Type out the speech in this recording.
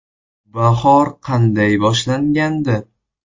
“Bahor” qanday boshlangandi?